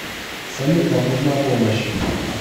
салют вам нужна помощь